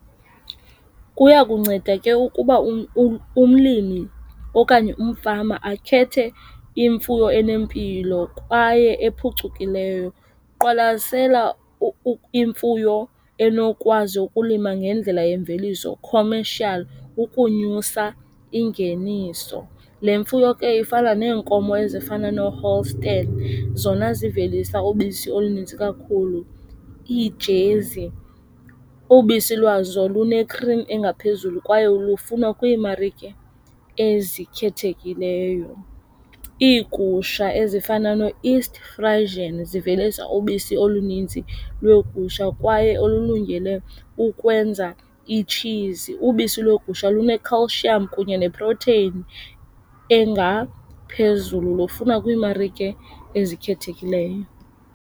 Kuya kunceda ke ukuba umlimi okanye umfama akhethe imfuyo enempilo kwaye ephucukileyo. Qwalasela imfuyo enokwazi ukulima ngendlela yemveliso, commercial ukunyusa ingeniso. Le mfuyo ke ifana neenkomo ezifana nooHolstein zona zivelisa ubisi oluninzi kakhulu, iijezi. Ubisi lwazo lune-cream engaphezulu kwaye lufunwa kwiimarike ezikhethekileyo. Iigusha ezifana ne-East Friesian zivelisa ubisi olunintsi lweegusha kwaye olulungele ukwenza iitshizi. Ubisi lweegusha lune-calcium kunye neprotheyini engaphezulu. Lufunwa kwiimarike ezikhethekileyo.